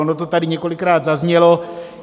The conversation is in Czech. Ono to tady několikrát zaznělo.